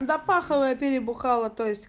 когда паховые перед бухала то есть